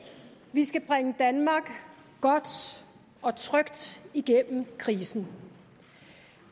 vi skal bringe danmark godt og trygt gennem krisen